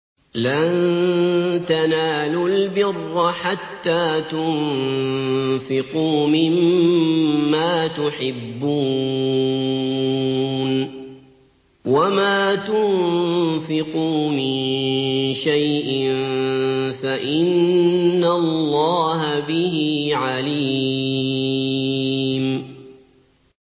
لَن تَنَالُوا الْبِرَّ حَتَّىٰ تُنفِقُوا مِمَّا تُحِبُّونَ ۚ وَمَا تُنفِقُوا مِن شَيْءٍ فَإِنَّ اللَّهَ بِهِ عَلِيمٌ